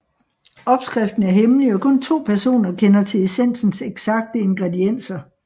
Opskriften er hemmelig og kun to personer kender til essensens eksakte ingredienser